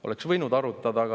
Oleks võinud arutada.